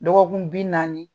Dɔgɔkun bi naani.